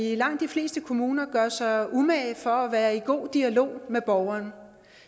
i langt de fleste kommuner gør sig umage for at være i god dialog med borgeren